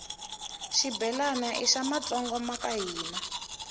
shibhelana ishamatsonga vakahhina